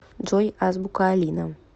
джой азбука алина